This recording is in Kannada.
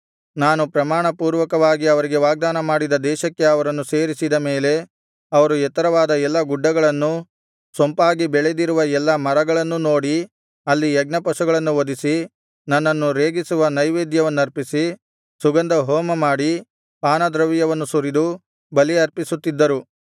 ನಾನು ಪ್ರಮಾಣ ಪೂರ್ವಕವಾಗಿ ಅವರಿಗೆ ವಾಗ್ದಾನ ಮಾಡಿದ ದೇಶಕ್ಕೆ ಅವರನ್ನು ಸೇರಿಸಿದ ಮೇಲೆ ಅವರು ಎತ್ತರವಾದ ಎಲ್ಲಾ ಗುಡ್ಡಗಳನ್ನೂ ಸೊಂಪಾಗಿ ಬೆಳೆದಿರುವ ಎಲ್ಲಾ ಮರಗಳನ್ನೂ ನೋಡಿ ಅಲ್ಲಿ ಯಜ್ಞಪಶುಗಳನ್ನು ವಧಿಸಿ ನನ್ನನ್ನು ರೇಗಿಸುವ ನೈವೇದ್ಯವನ್ನರ್ಪಿಸಿ ಸುಗಂಧ ಹೋಮಮಾಡಿ ಪಾನದ್ರವ್ಯವನ್ನು ಸುರಿದು ಬಲಿ ಅರ್ಪಿಸುತ್ತಿದ್ದರು